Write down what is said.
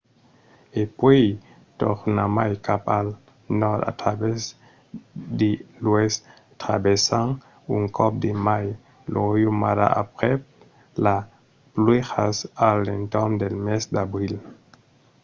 e puèi tornarmai cap al nòrd a travèrs de l'oèst traversant un còp de mai lo riu mara aprèp las pluèjas a l’entorn del mes d’abril